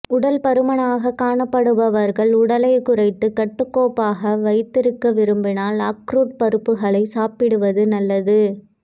உடல் பருமனாக காணப்படுபவர்கள் உடலை குறைத்து கட்டுக்கோப்பாக வைத்திருக்க விரும்பினால் அக்ரூட் பருப்புகளை சாப்பிடுவது நல்லது